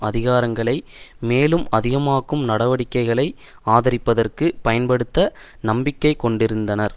அதிகாரங்களை மேலும் அதிகமாக்கும் நடவடிக்கைகளை ஆதரிப்பதற்கு பயன்படுத்த நம்பிக்கை கொண்டிருக்கின்றனர்